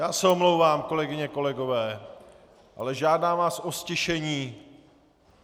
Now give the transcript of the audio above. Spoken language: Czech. Já se omlouvám, kolegyně, kolegové, ale žádám vás o ztišení!